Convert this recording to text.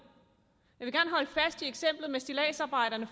jeg med stilladsarbejderne